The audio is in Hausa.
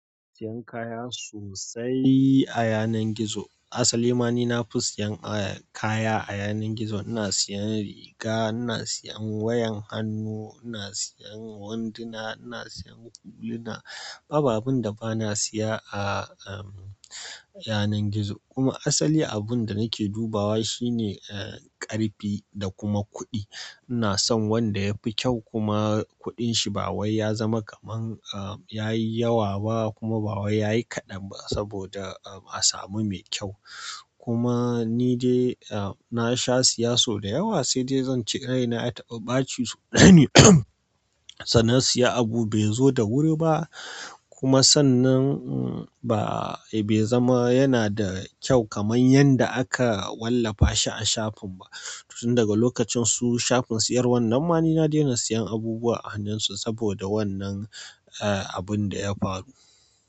Siyan kaya sosai a yanar gizo. Asali ma ni na fi siyan kaya a yanar gizo. Ina siyan riga, ina siyan wayan hannu, ina siyan wandina, ina siyan huluna. Babu abun da ba na siya a, a yanar gizo. Kuma asali abun da nake dubawa shine, eh, ƙarfi da kuma kuɗi. Ina son wanda ya fi kyau kuma kuɗin shi ba wai ya zama kaman, eh, yayi yawa ba kuma ba wai yayi kaɗan ba saboda, eh, a samu mai kyau. Kuma ni dai, eh, na sha siya so da yawa sai dai zan ce rai na ya taɓa ɓaci sau ɗaya ne. Da na siya abu bai zo da wuri ba. Kuma sannan ba be zama yanada kyau kamar yadda aka wallafa shi a shafin ba tun daga lokacin su shafin siyarwar nan ma ni na daina siyan abubuwa a hannun su saboda wannan, eh, abun da ya faru.